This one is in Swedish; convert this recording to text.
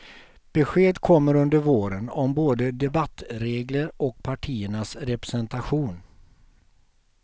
Besked kommer under våren om både debattregler och partiernas representation.